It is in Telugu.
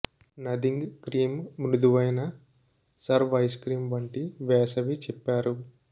నథింగ్ క్రీం మృదువైన సర్వ్ ఐస్ క్రీం వంటి వేసవి చెప్పారు